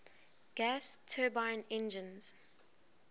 gas turbine engines